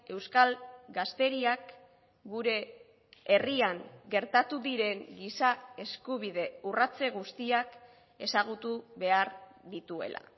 euskal gazteriak gure herrian gertatu diren giza eskubide urratze guztiak ezagutu behar dituela